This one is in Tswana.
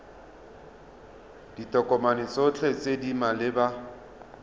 ditokomane tsotlhe tse di maleba